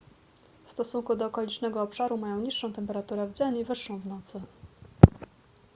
w stosunku do okolicznego obszaru mają niższą temperaturę w dzień i wyższą w nocy